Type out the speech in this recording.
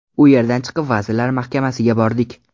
U yerdan chiqib Vazirlar Mahkamasiga bordik.